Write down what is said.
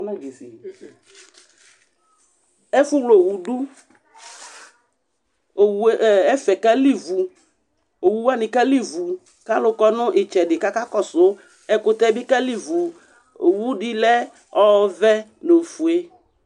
ɛfʊwlɛ itsukudu ɛfuekalivu itsukuani kalivu alʊkɔnʊ idjedi kakɔsu ɛkʊtɛ bi kalivu itsukudi lɛ ovɛ nu ofoɛ